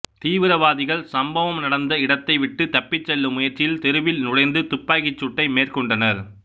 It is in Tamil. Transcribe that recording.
தீவிரவாதிகள் சம்பவம் நடந்த இடத்தை விட்டு தப்பி செல்லும் முயற்சியில் தெருவில் நுழைந்து துப்பாக்கி சூட்டை மேற்கொண்டனர்